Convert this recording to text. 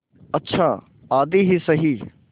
अच्छा आधी ही सही